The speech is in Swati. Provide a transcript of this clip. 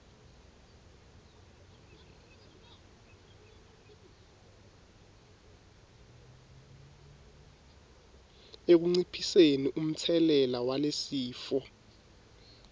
ekunciphiseni umtselela walesifo